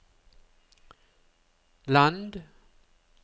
land